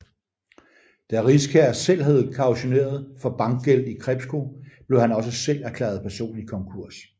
Da Riskær selv havde kautioneret for bankgæld i Krepco blev han også selv erklæret personlig konkurs